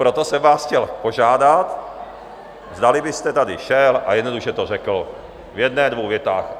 Proto jsem vás chtěl požádat, zdali byste sem šel a jednoduše to řekl v jedné, dvou větách.